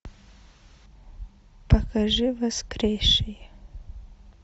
покажи воскресший